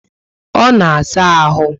Ọ na saa ahụ